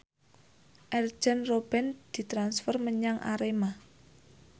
Arjen Robben ditransfer menyang Arema